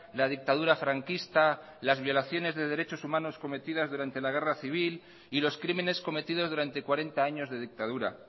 la dictadura franquista las violaciones de derechos humanos cometidas durante la guerra civil y los crímenes cometidos durante cuarenta años de dictadura